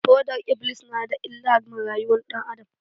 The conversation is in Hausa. Fodar-iblis na da illa ma rayuwar ɗan adam.